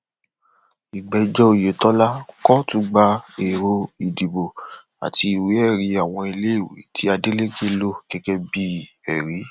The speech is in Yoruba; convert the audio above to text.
mo gbà láti ṣe ìrànlọwọ lẹẹkan ṣùgbọn mo ṣàlàyé pé jíjẹ iṣẹ ara ẹni kò lè jẹ àṣà